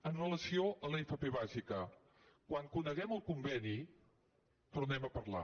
amb relació a l’fp bàsica quan coneguem el conveni tornem a parlar